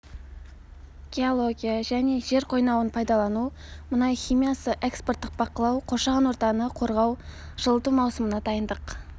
геология және жер қойнауын пайдалану мұнай химиясы экспорттық бақылау қоршаған ортаны қорғау жылыту маусымына дайындық